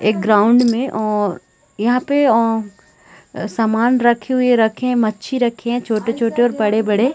एक ग्राउंड में अ और यहाँ पे अ सामान रखे हुए रखें मच्छी रखें छोटे-छोटे और बड़े-बड़े--